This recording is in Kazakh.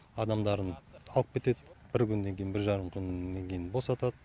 адамдарын алып кетеді бір күннен кейін бір жарым күннен кейін босатады